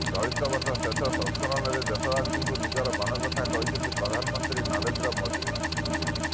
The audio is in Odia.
ଚଳିତ ବର୍ଷ ଶେଷ ସଂସ୍କରଣରେ ଦେଶବାସୀଙ୍କୁ ନିଜର ମନ କଥା କହିଛନ୍ତି ପ୍ରଧାନମନ୍ତ୍ରୀ ନରେନ୍ଦ୍ର ମୋଦି